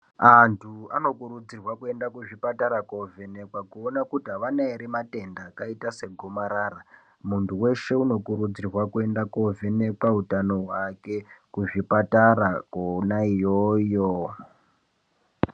Antu anokurudzirwa kuenda kuchipata koovhenekwa kuona kuti havana ere matenda akaita se gomarara. Muntu weshe unokurudzirwa kuenda koovhenekwa utano hwake kuzvipatara kona iyoyo.